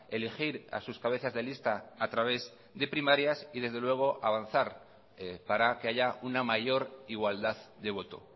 elegir a sus cabezas de lista a través de primarias y desde luego avanzar para que haya una mayor igualdad de voto